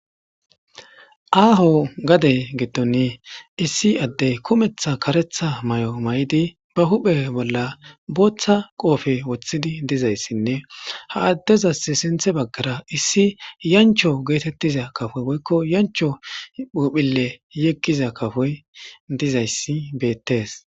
aaho gade gidon issi addey kumetha karetha mayo maydi ba huphe bolla booththa qoofe woththidi dizayssinne ha addezas sinthe baggara issi yancho geetettiza kafoy boykko yancho phuphile yeggiza kafoy dizayssi beettes